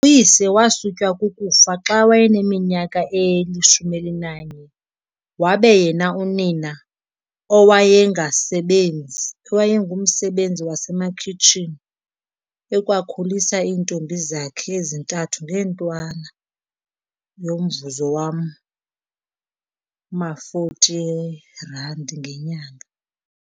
Uyise wasutywa kukufa xa wayeneminyaka eli-11 wabe yena unina, owayengasebenzi owayengumsebenzi wasemakhitshini, ekwakhulisa iintombi zakhe ezintathu ngeentwana yomvuzo wama-40eeRand ngenyanga.